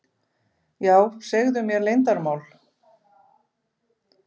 Já, segðu mér leyndarmál.